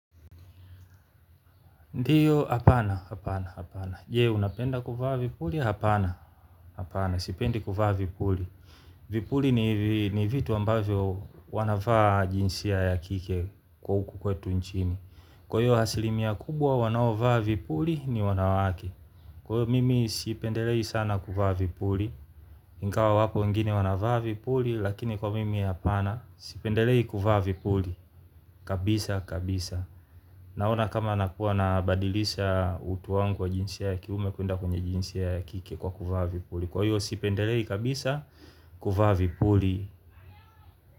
Ndiyo, hapana, hapana, hapana. Je, unapenda kuvaa vipuli, hapana, hapana. Sipendi kuvaa vipuli. Vipuli ni vitu ambavyo wanavaa jinsia ya kike hukukwetu nchini. Kwahiyo asilimia kubwa wanaovaa vipuli ni wanawake. Kwahiyo mimi sipendelei sana kuvaa vipuli. Ingawa wapo wengine wanavaavipuli lakini kwa mimi hapana. Sipendelei kuvaavipuli. Kabisa kabisa. Naona kama nakuwa na badilisha utu wangu wa jinsia ya kiume kwenda kwenye jinsia ya kike kwa kuvaavipuli. Kwa hiyo sipendelei kabisa kuvaavipuli.